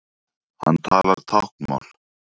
Hann talar táknmál.